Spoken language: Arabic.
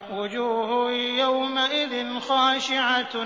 وُجُوهٌ يَوْمَئِذٍ خَاشِعَةٌ